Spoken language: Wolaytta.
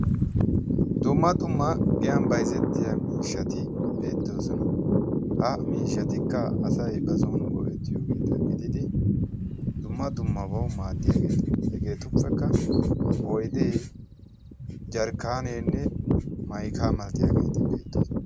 dumma dumma giyan bayzzettiya miishshati beettoosona ha miishshatikka asay ba son goo'ettiyoogeeta gididi dumma dummabawu maaddiyaageeta hegeetuppekka oyddu jarkkaaneenne maykaa malatiyaageeti beettoosona